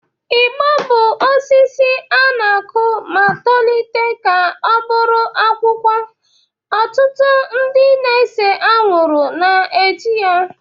Igbo bụ osisi a na-akụ ma tolite ka ọ bụrụ akwụkwọ ọtụtụ ndị na-ese anwụrụ na-eji ya